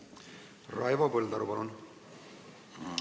Raivo Põldaru, palun!